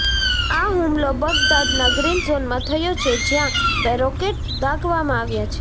આ હુમલો બગદાદનાં ગ્રીન ઝોનમાં થયો છે જ્યા બે રોકેટ દાગવામાં આવ્યા છે